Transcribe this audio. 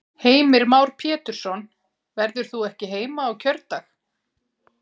Heimir Már Pétursson: Verður þú ekki heima á kjördag?